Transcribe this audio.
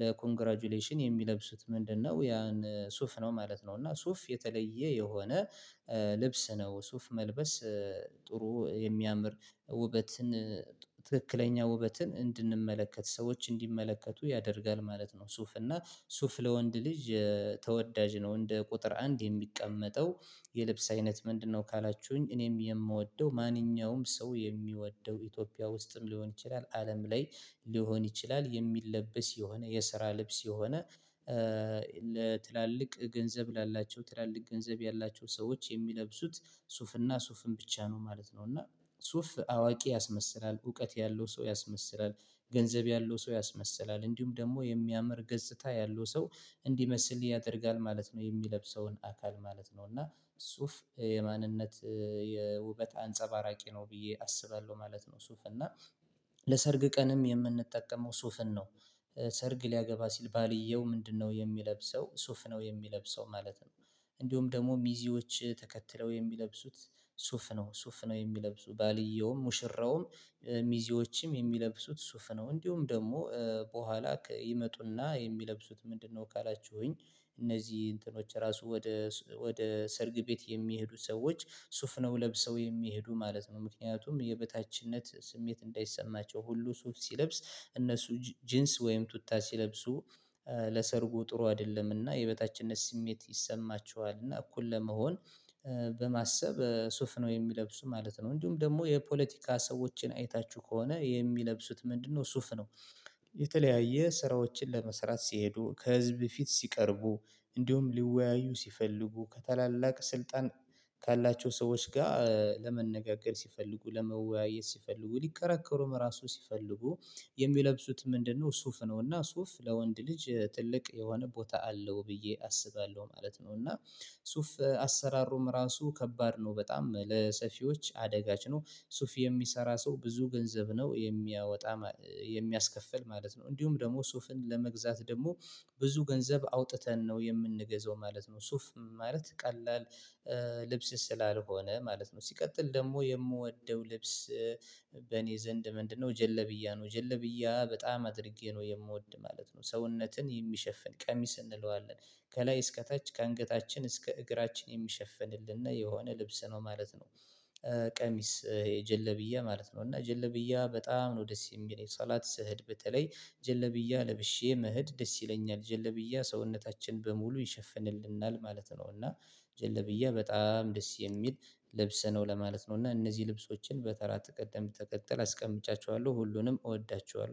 ለኮንግራጁሌሽን የሚለብሱት ምንድነው ያን ሱፍ ነው ማለት ነው። እና ሱፍ የተለየ የሆነ ልብስ ነው። ሱፍ መልበስ ጥሩ የሚያምር ውበትን ትክክለኛ ውበትን እንድንመለከት ሰዎች እንዲመለከቱ ያደርጋል ማለት ነው። ሱፍ እና ሱፍ ለወንድ ልጅ ተወዳጅ ነው። እንደ ቁጥር አንድ የሚቀመጠው የልብስ አይነት ምንድነው ካላችሁኝ እኔም የምወደው ማንኛውም ሰው የሚወደው ኢትዮጵያ ውስጥም ሊሆን ይችላል አለም ላይ ሊሆን ይችላል የሚለበስ የሆነ የስራ ልብስ የሆነ ለትላልቅ ገንዘብ ላላቸው ትላልቅ ገንዘብ ያላቸው ሰዎች የሚለብሱት ሱፍና ሱፍን ብቻ ነው ማለት ነው። እና ሱፍ አዋቂ ያስመስላል። እውቀት ያለው ሰው ያስመስላል። ገንዘብ ያለው ሰው ያስመስላል እንዲሁም ደግሞ የሚያምር ገጽታ ያለው ሰው እንዲመስል ያደርጋል ማለት ነው። የሚለብሰውን አካል ማለት ነው። እና ሱፍ የማንነት የውበት አንጸባራቂ ነው ብዬ አስባለሁ ማለት ነው ሱፍ። እና ለሰርግ ቀንም የምንጠቀመው ሱፍን ነው። ሰርግ ሊያገባ ሲል ባልየው ምንድነው የሚለብሰው ሱፍ ነው የሚለብሰው ማለት ነው። እንዲሁም ደግሞ ሚዚዎች ተከትለው የሚለብሱት ሱፍ ነው። ሱፍ ነው የሚለብሱ ባልየውም ሙሽራውም ሚዜዎችም የሚለብሱት ሱፍ ነው። እንዲሁም ደግሞ በኋላ ይመጡና የሚለብሱት ምንድነው ካላችሁኝ እነዚህ እንትኖች ራሱ ወደ ወደ ሰርግ ቤት የሚሄዱ ሰዎች ሱፍ ነው ለብሰው የሚሄዱ ማለት ነው። ምክንያቱም የበታችነት ስሜት እንዳይሰማቸው ሁሉ ሱፍ ሲለብስ እነሱ ጂንስ ወይም ቱታ ሲለብሱ ለሰርጉ ጥሩ አይደለምና የበታችነት ስሜት ይሰማቸዋልና እና እኩል ለመሆን በማሰብ ሱፍ ነው የሚለብሱ ማለት ነው። እንዲሁም ደግሞ የፖለቲካ ሰዎችን አይታችሁ ከሆነ የሚለብሱት ምንድነው ሱፍ ነው። የተለያየ ስራዎችን ለመስራት ሲሄዱ ከህዝብ ፊት ሲቀርቡ እንዲሁም ሊወያዩ ሲፈልጉ ከታላላቅ ስልጣን ካላቸው ሰዎች ጋር ለመነጋገር ሲፈልጉ ለመወያየት ሲፈልጉ ሊከራከሩም ራሱ ሲፈልጉ የሚለብሱት ምንድነው ሱፍ ነው። እና ሱፍ ለወንድ ልጅ ትልቅ የሆነ ቦታ አለው ብዬ አስባለሁ ማለት ነው። እና ሱፍ አሰራሩም ራሱ ከባድ ነው። በጣም ለሰፊዎች አደጋች ነው። ሱፍ የሚሰራ ሰው ብዙ ገንዘብ ነው የሚያወጣ የሚያስከፍል ማለት ነው። እንዲሁም ደግሞ ሱፍን ለመግዛት ደግሞ ብዙ ገንዘብ አውጥተን ነው የምንገዛው ማለት ነው። ሱፍ ማለት ቀላል ልብስ ስላልሆነ ማለት ነው። ሲቀጥል ደግሞ የምወደው ልብስ በእኔ ዘንድ ምንድነው? ጀለብያ ነው። ጀለብያ በጣም አድርጌ ነው የምወድ ማለት ነው። ሰውነትን የሚሸፍን ቀሚስ እንለዋለን። ከላይ እስከ ታች ከአንገታችን እስከ እግራችን የሚሸፍንልን እና የሆነ ልብስ ነው ማለት ነው። ቀሚስ የጀለብያ ማለት ነው። እና ጀለብያ በጣም ነው ደስ የሚለኝ ሶላት ስሄድ በተለይ ጀለብያ ለብሼ መሄድ ደስ ይለኛል። ጀለብያ ሰውነታችን በሙሉ ይሸፍንልናል ማለት ነው። እና ጀለብያ በጣም ደስ የሚል ልብስ ነው ለማለት ነው። እና እነዚህ ልብሶችን በተራ ቅደም ተከጥል አስቀምጫቸዋለሁ ሁሉንም እወዳቸዋለሁ።